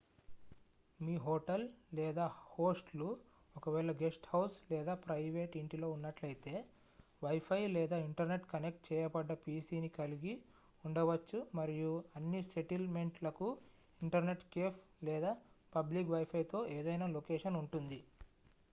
మీ hotel లేదా host లు ఒకవేళ గెస్ట్ హౌస్ లేదా ప్రయివేట్ ఇంటిలో ఉన్నట్లయితే వైఫై లేదా ఇంటర్నెట్ కనెక్ట్ చేయబడ్డ pc ని కలిగి ఉండవచ్చు మరియు అన్ని సెటిల్ మెంట్ లకు ఇంటర్నెట్ కేఫ్ లేదా పబ్లిక్ వైఫై తో ఏదైనా లొకేషన్ ఉంటుంది